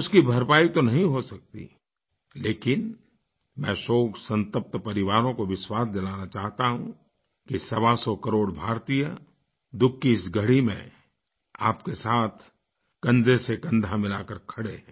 उसकी भरपाई तो नहीं हो सकती लेकिन मैं शोकसंतप्त परिवारों को विश्वास दिलाना चाहता हूँ कि सवासौ करोड़ भारतीय दुःख की इस घड़ी में आपके साथ कन्धे से कन्धा मिलाकर खड़े हैं